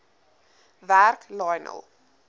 werk lionel